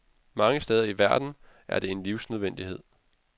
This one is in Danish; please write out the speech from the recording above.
Mange steder i verden er det en livsnødvendighed.